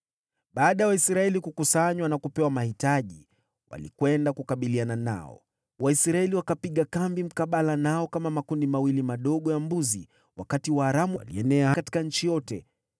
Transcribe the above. Baada ya Waisraeli kukusanywa na kupewa mahitaji, walikwenda kukabiliana nao. Waisraeli wakapiga kambi mkabala nao kama makundi mawili madogo ya mbuzi, wakati Waaramu walienea katika nchi yote.